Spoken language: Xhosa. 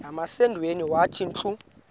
nasemadodeni wathi ndilu